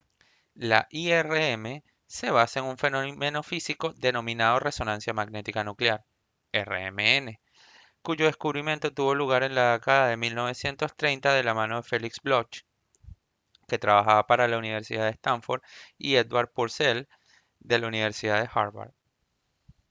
la irm se basa en un fenómeno físico denominado resonancia magnética nuclear rmn cuyo descubrimiento tuvo lugar en la década de 1930 de la mano de felix bloch que trabajaba para la universidad de stanford y edward purcell de la universidad de harvard